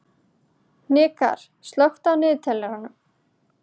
Hnikarr, slökktu á niðurteljaranum.